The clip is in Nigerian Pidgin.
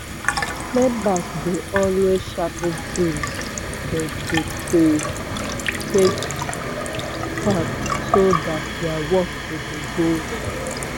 members dey always sharp tins dem take dey farm so dat dia work go dey go well.